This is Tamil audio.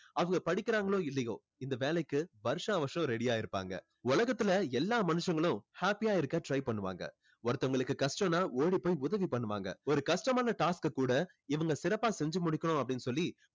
அவங்க படிக்கிறாங்களோ இல்லையோ இந்த வேலைக்கு வருஷா வருஷம் ready ஆ இருப்பாங்க உலகத்துல எல்லா மனுஷங்களும் happy ஆ இருக்க try பண்ணுவாங்க ஒருத்தவங்களுக்கு கஷ்டம்னா ஓடி போய் உதவி பண்ணுவாங்க ஒரு கஷ்டமான task அ கூட இவங்க சிறப்பா செஞ்சு முடிக்கணும் அப்படின்னு சொல்லி